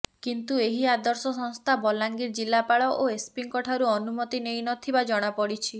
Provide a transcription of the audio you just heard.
କିନ୍ତୁ ଏହି ଆଦର୍ଶ ସଂସ୍ଥା ବଲାଙ୍ଗୀର ଜିଲ୍ଲାପାଳ ଓ ଏସ୍ପିଙ୍କ ଠାରୁ ଅନୁମତି ନେଇ ନଥିବା ଜଣାପଡିଛି